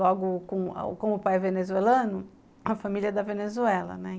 Logo, com com o pai é venezuelano, a família é da Venezuela, né?